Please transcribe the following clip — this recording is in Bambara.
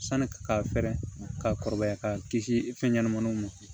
Sanni ka fɛrɛ ka kɔrɔbaya k'a kisi fɛn ɲɛnɛmaniw ma